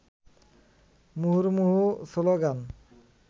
মুহুর্মুহু স্লোগান